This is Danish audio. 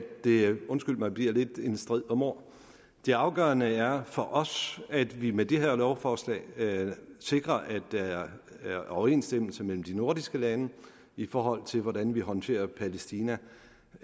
det undskyld mig bliver lidt en strid om ord det afgørende er for os at vi med det her lovforslag sikrer at der er overensstemmelse mellem de nordiske lande i forhold til hvordan vi håndterer palæstina